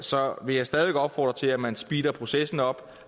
så vil jeg stadig væk opfordre til at man speeder processen op